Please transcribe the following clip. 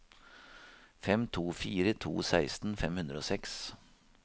fem to fire to seksten fem hundre og seks